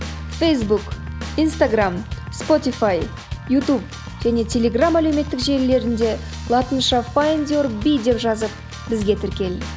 фейсбук инстаграмм спотифай ютуб және телеграм әлеуметтік желілерінде латынша файндюрби деп жазып бізге тіркел